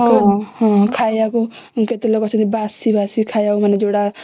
ହୁଁ ହୁଁ ଖାଇବାକୁ କେତେ ଲୋକ ବାସି ବାସି ଖାଇବାକୁ ବନିଛି